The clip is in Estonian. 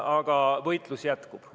Aga võitlus jätkub.